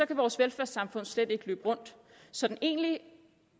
kan vores velfærdssamfund slet ikke løbe rundt så den egentlige